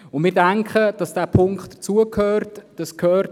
Wir denken, dass dieser Punkt dazu gehört.